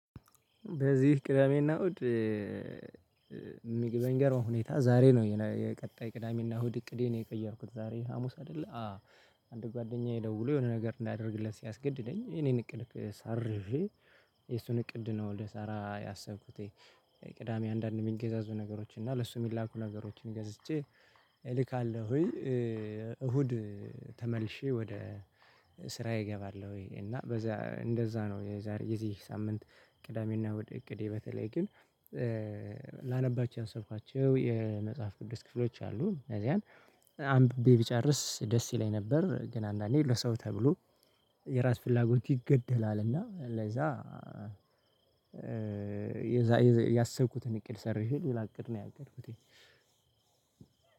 በዚህ ቅዳሜና እሁድ። በሚገርም ሁኔታ ዛሬ ነው የቀጣይ ቅዳሜና እሁድ እቅዴን የቀየርኩት ዛሬ ሀሙስ አይደለ አ አንድ ጓደኛዬ ደውሎ የሆነ ነገር እንዳደርግለት ሲያስገድደኝ እኔን እቅድ ሰርዤ የሱን እቅድ ነው ልሳራ ያሰብኩት። ቅዳሜ አንዳንድ የሚገዛዙ ነገሮች እና ለሱ የሚላኩ ነገሮችን ገዝቼ እልካለሁ ወይ እሁድ። ተመልሼ ወደ ስራዬ እገባለሁ እና በዛ እንደዛ ነው የዚህ ሳምንት ቅዳሜና እሁድ እቅዴ በተለይ ግን ላነባቸው ያሰብኳቸው የመጽሐፍ ቅዱስ ክፍሎች አሉ እንደዚያን አንብቤ ብጨርስ ደስ ይለኝ ነበር። ግን አንዳንዴ ለሰው ተብሎ የራስ ፍላጎት ይገደላልና ለዛ ያሰብኩትን እቅድ ሰርዤ ሌላ አቅድ ነው ያቀድኩት።